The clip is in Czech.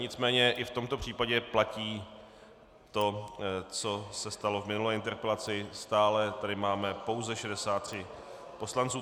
Nicméně i v tomto případě platí to, co se stalo v minulé interpelaci, stále tady máme pouze 63 poslanců.